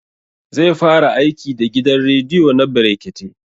Zai fara aiki da gidan rediyo na brekete